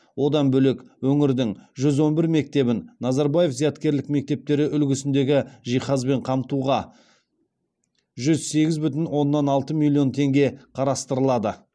одан бөлек өңірдің жүз он бір мектебін назарбаев зияткерлік мектептері үлгісіндегі жиһазбен қамтуға жүз сегіз бүтін оннан алты миллион теңге қарастырылады